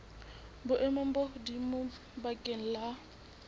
boemong bo hodimo bakeng la